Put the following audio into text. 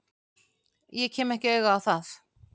Ég kem ekki auga á það.